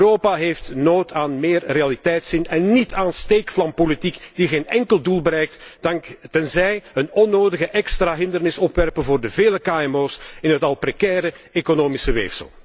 Europa heeft nood aan meer realiteitszin en niet aan steekvlampolitiek die geen enkel doel bereikt, maar alleen een onnodige extra hindernis opwerpt voor de vele kmo's in het al precaire economische weefsel.